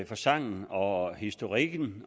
for sangen og historikken